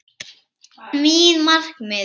Mín markmið?